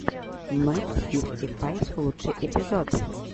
м фифти файв лучший эпизод